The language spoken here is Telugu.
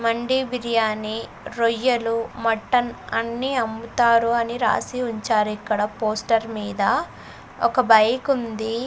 మండి బిర్యానీ రొయ్యలు మటన్ అన్ని అమ్ముతారు అని రాసి ఉంచారు ఇక్కడ పోస్టర్ మీద ఒక బైకుంది .